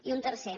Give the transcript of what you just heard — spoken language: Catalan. i un tercer